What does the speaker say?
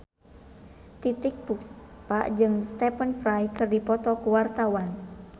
Titiek Puspa jeung Stephen Fry keur dipoto ku wartawan